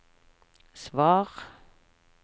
svar